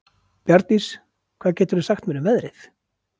Bjarndís, hvað geturðu sagt mér um veðrið?